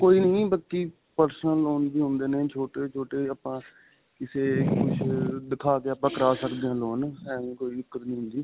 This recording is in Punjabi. ਕੋਈ ਨਹੀਂ ਬਾਕੀ personal loan ਵੀ ਹੁੰਦੇ ਨੇ ਛੋਟੇ-ਛੋਟੇ ਆਪਾਂ ਕਿਸੇ ਕੁਝ ਅਅ ਦਿਖਾ ਕੇ ਆਪਾਂ ਕਰਾ ਸਕਦੇ ਹਾਂ loan ਐਂਵੇਂ ਕੋਈ ਦਿੱਕਤ ਨਹੀਂ ਹੁੰਦੀ.